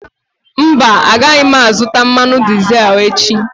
Mba, agaghị m azụta mmanụ dizel echi.